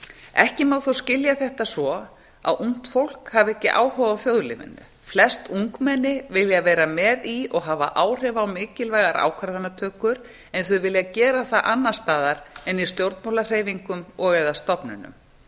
ekki má þó skilja þetta svo að ungt fólk hafi ekki áhuga á þjóðlífinu flest ungmenni vilja vera með í og hafa áhrif á mikilvægar ákvarðanatökur en þau vilja gera það annars staðar en í stjórnmálahreyfingum og eða stofnunum það